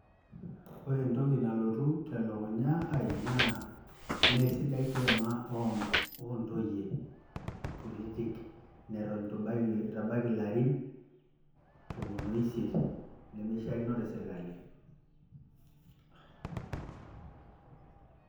Ore entoki nalotu telukunya ai naa meesidai kiama o ntoyie kutitik nito itu ebaiki ilarin tomon o isiet, nemeishaakino te sirkali.